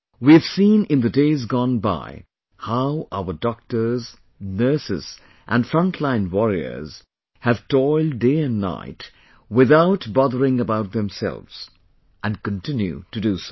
We've seen in the days gone by how our doctors, nurses and frontline warriors have toiled day and night without bothering about themselves, and continue to do so